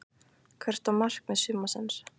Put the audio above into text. Hvert var markmið sumarsins?